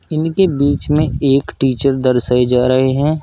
इनके बीच में एक टीचर दर्शाए जा रहे हैं।